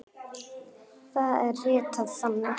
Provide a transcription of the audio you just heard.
Það er ritað þannig